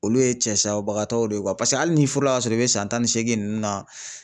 Olu ye cɛ saya bagatow de ye paseke hali n'i furu la ka sɔrɔ i be san tan ni seegin nunnu na.